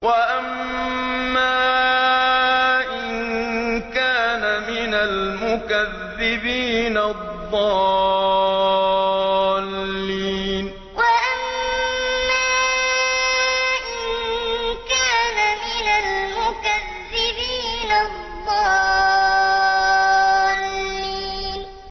وَأَمَّا إِن كَانَ مِنَ الْمُكَذِّبِينَ الضَّالِّينَ وَأَمَّا إِن كَانَ مِنَ الْمُكَذِّبِينَ الضَّالِّينَ